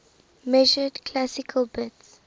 measured classical bits